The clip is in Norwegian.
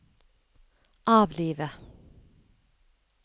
avlive